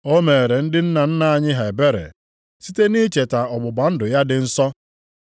O meere ndị nna nna anyị ha ebere site nʼicheta ọgbụgba ndụ ya dị nsọ.